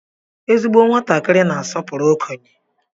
Ezigbo nwatakịrị na-asọpụrụ okenye.